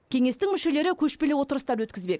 кеңестің мүшелері көшпелі отырыстар өткізбек